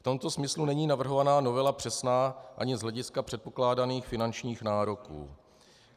V tomto smyslu není navrhovaná novela přesná ani z hlediska předpokládaných finančních nároků.